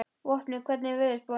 Vopni, hvernig er veðurspáin?